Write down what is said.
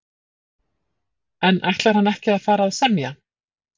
En ætlar hann ekki að fara að semja?